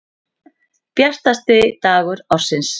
Bjartasti dagur ársins.